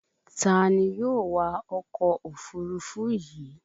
Ta ni yóò wa ọkọ̀ òfurufú yìí